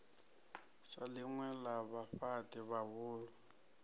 sa ḽinwe ḽa vhafhaṱi vhahulu